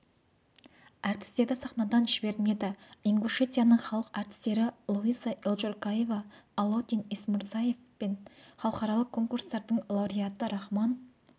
әртістерді сахнадан жібермеді ингушетияның халық әртістері луиза эльжуркаева алаудин эсмурзиев пен халықаралық конкурстардың лауреаты рахман